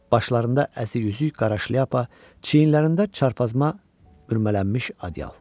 Başlarında əzik-yüzük qara şlyapa, çiynlərində çarpazma bürülənmiş adyal.